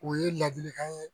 O ye ladilikan ye